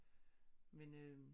Men øh